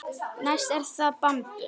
Næst er það bambus.